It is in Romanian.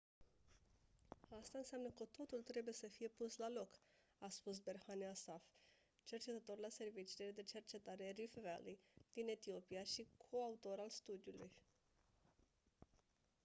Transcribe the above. asta înseamnă că totul trebuie să fie pus la loc a spus berhane asfaw cercetător la serviciile de cercetare rift valley din etiopia și coautor al studiului